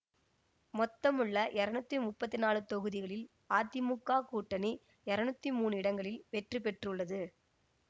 மொத்தமுள்ள இருநூத்தி முப்பத்தி நாலு தொகுதிகளில் அதிமுக கூட்டணி இருநூத்தி மூனு இடங்களில் வெற்றி பெற்றுள்ளது